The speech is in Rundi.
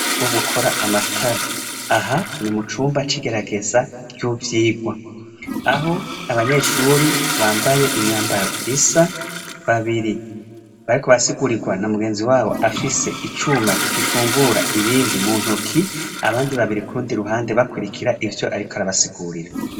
Nwo gukora amatara aha turi mu cumba cigerageza ry'uvyigwa aho abanyeshuri bambaye imyambaro isa babiri bariko arasigurirwa na mugenzi wabo afise icuma gifungura ibindi mu ntuki abandi babiri kundi ruhande bakwirikira ivyo, ariko arabasigurira.